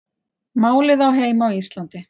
Málið á heima á Íslandi